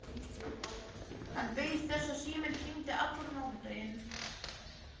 Hann beið þess að síminn hringdi allan mánudaginn.